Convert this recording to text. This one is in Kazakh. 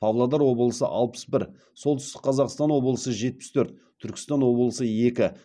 павлодар облысы алпыс бір солтүстік қазақстан облысы жетпіс төрт түркістан облысы екі